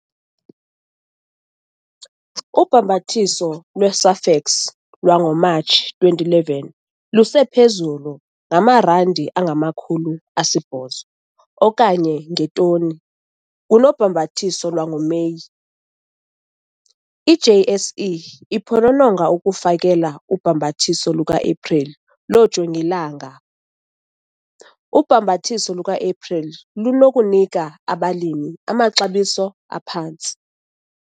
Ubhambathiso lwe-SAFEX lwangoMatshi 2011 lusephezulu ngama-R800 okanye ngetoni kunobhambathiso lwangoMeyi. I-JSE iphonononga ukufakela ubhambathiso lukaEpreli loojongilanga. Ubhambathiso lukaEpreli lunokunika abalimi amaxabiso aphantsi.